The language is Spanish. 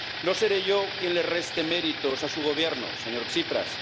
No seré yo quien le reste méritos a su Gobierno, señor Tsipras.